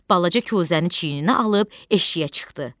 Balaca kuzəni çiyninə alıb eşiyə çıxdı.